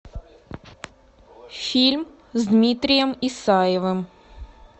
фильм с дмитрием исаевым